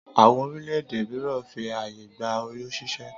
Àwọn orílẹ̀-èdè míràn fi ààyè gba oyún ṣíṣẹ́